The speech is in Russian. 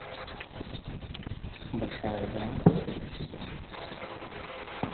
большая игра последний сезон